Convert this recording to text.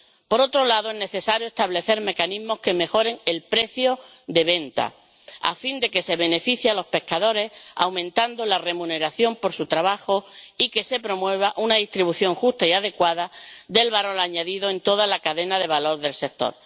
Por otro lado, es necesario establecer mecanismos que mejoren el precio de venta, a fin de que se beneficie a los pescadores, aumentando la remuneración por su trabajo, y se promueva una distribución justa y adecuada del valor añadido en toda la cadena de valor del sector.